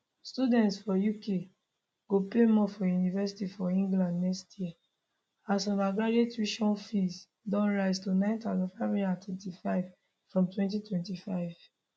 students for uk go pay more for university for england next year as undergraduate tuition fees go rise to 9535 from 2025